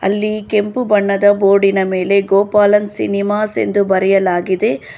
ಅಲ್ಲಿ ಕೆಂಪು ಬಣ್ಣದ ಬೋರ್ಡಿನ ಮೇಲೆ ಗೋಪಾಲನ್ ಸಿನಿಮಾಸ್ ಎಂದು ಬರೆಯಲಾಗಿದೆ.